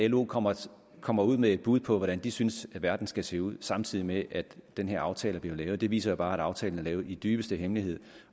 lo kommer kommer ud med et bud på hvordan de synes verden skal se ud samtidig med at den her aftale bliver lavet viser jo bare at aftalen er lavet i dybeste hemmelighed